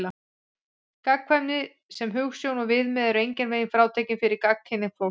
Gagnkvæmni sem hugsjón og viðmið er engan veginn frátekin fyrir gagnkynhneigt fólk.